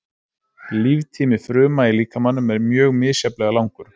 Líftími fruma í líkamanum er mjög misjafnlega langur.